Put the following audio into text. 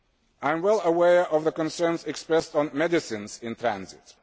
EU. I am well aware of the constraints expressed on medicines in transit.